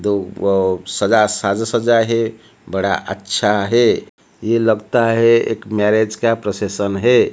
दो अह सजा साज सजा है बड़ा अच्छा है यह लगता है एक मैरिज का प्रोसेशन है।